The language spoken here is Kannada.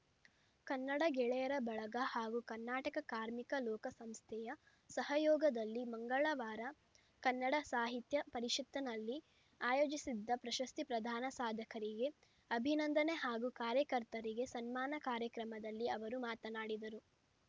ಕನ್ನಡ ಗೆಳೆಯರ ಬಳಗ ಹಾಗೂ ಕರ್ನಾಟಕ ಕಾರ್ಮಿಕ ಲೋಕ ಸಂಸ್ಥೆಯ ಸಹಯೋಗದಲ್ಲಿ ಮಂಗಳವಾರ ಕನ್ನಡ ಸಾಹಿತ್ಯ ಪರಿಷತ್ತಿನಲ್ಲಿ ಆಯೋಜಿಸಿದ್ದ ಪ್ರಶಸ್ತಿ ಪ್ರದಾನ ಸಾಧಕರಿಗೆ ಅಭಿನಂದನೆ ಹಾಗೂ ಕಾರ್ಯಕರ್ತರಿಗೆ ಸನ್ಮಾನ ಕಾರ್ಯಕ್ರಮದಲ್ಲಿ ಅವರು ಮಾತನಾಡಿದರು